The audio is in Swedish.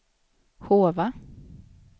Hova